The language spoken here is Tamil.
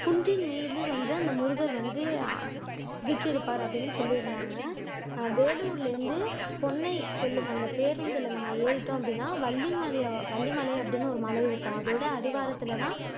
குன்றின் மீது வந்து அந்த முருகர் வந்து வீற்றிருப்பார் அப்படின்னு சொல்லியிருந்தாங்க வேலூர்ல இருந்து பொண்ணை செல்லும் அந்த பேருந்துல நம்ம ஏறிட்டோம் அப்படின்னா வள்ளிமலை வள்ளிமலை அப்படின்னு ஒரு மலைஇருக்கும் அதோட அடிவாரத்துல தான்